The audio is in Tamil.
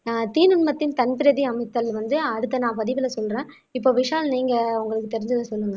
ஆஹ் தீநுண்மத்தின் சந்திரதி அமுத்தல் வந்து அடுத்த நான் பதிவுல சொல்றேன் இப்ப விஷால் நீங்க உங்களுக்கு தெரிஞ்சதை சொல்லுங்க